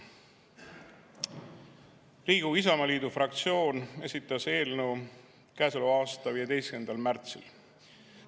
Riigikogu Isamaa fraktsioon esitas eelnõu käesoleva aasta 15. märtsil.